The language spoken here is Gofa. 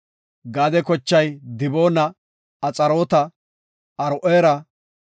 Gaade kochay Diboona, Axaarota, Aro7eera